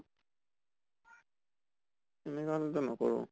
এনেকা হʼলে টো নকৰো।